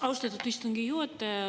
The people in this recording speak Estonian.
Austatud istungi juhataja!